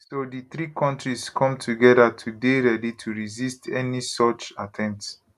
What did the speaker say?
so di three kontris come togeda to dey ready to resist any such attempt